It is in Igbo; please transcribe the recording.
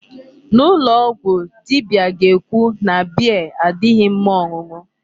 N'ụlọ ọgwụ dibia ga-ekwu na beer adịghị mma ọṅụṅụ.